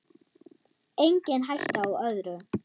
Engin hætta á öðru!